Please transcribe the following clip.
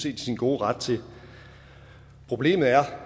i sin gode ret til problemet er